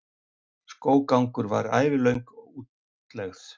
skóggangur var ævilöng útlegð